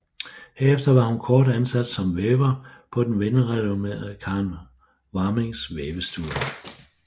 Herefter var hun kort ansat som væver på den velrenommeret Karen Warmings vævestue